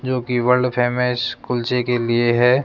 जोकि world famous कुल्चे के लिए है।